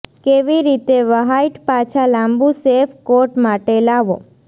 કેવી રીતે વ્હાઇટ પાછા લાંબું શેફ કોટ માટે લાવો